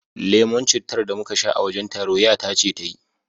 Lemon cittar da muka sha a wajen taro ƴata ce ta yi